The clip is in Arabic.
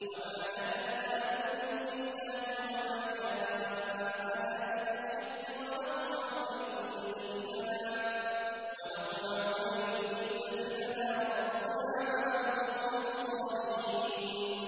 وَمَا لَنَا لَا نُؤْمِنُ بِاللَّهِ وَمَا جَاءَنَا مِنَ الْحَقِّ وَنَطْمَعُ أَن يُدْخِلَنَا رَبُّنَا مَعَ الْقَوْمِ الصَّالِحِينَ